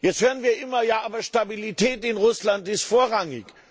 Jetzt hören wir immer Ja, aber Stabilität in Russland ist vorrangig.